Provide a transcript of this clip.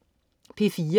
P4: